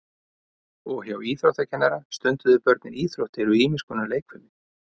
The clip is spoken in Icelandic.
Og hjá íþróttakennara stunduðu börnin íþróttir og ýmis konar leikfimi.